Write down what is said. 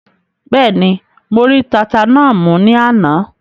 Bẹ́ẹ̀ni, mo rí tata náà mú ní àná?